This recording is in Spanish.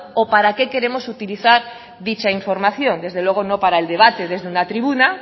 o para qué queremos utilizar dicha información desde luego no para el debate desde una tribuna